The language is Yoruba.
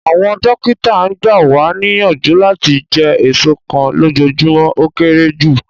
Awọn dokita gba wa niyanju lati jẹ eso kan lojoojumọ o kere ju